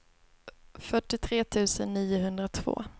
fyrtiotre tusen niohundratvå